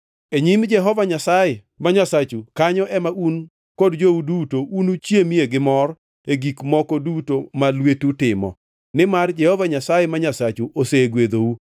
E nyim Jehova Nyasaye ma Nyasachu kanyo ema un kod jou duto unuchiemie gi mor e gik moko duto ma lwetu timo, nimar Jehova Nyasaye ma Nyasachu osegwedhou.